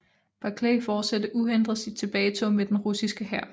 Barclay fortsatte uhindret sit tilbagetog med den russiske hær